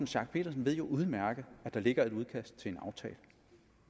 schack pedersen jo udmærket godt at der ligger et udkast til en aftale